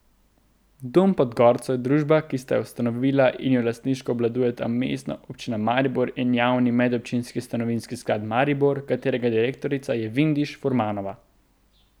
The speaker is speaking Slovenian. Dom pod gorco je družba, ki sta jo ustanovila in jo lastniško obvladujeta Mestna občina Maribor in Javni medobčinski stanovanjski sklad Maribor, katerega direktorica je Vindiš Furmanova.